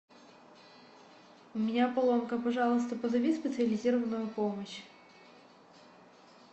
у меня поломка пожалуйста позови специализированную помощь